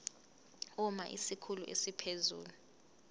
uma isikhulu esiphezulu